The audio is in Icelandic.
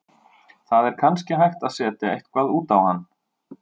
Það er kannski hægt að setja eitthvað út á hann.